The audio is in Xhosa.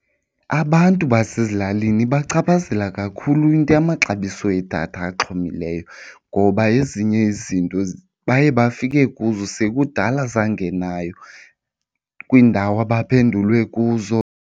Abantu basezilalini ibachaphazela kakhulu into yamaxabiso edatha axhomileyo ngoba ezinye izinto baye bafike kuzo sekudala zangenayo kwiindawo abaphendulwe kuzo.